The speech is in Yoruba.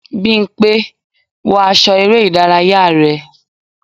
bimpe! wọ aṣọ ere idaraya rẹ.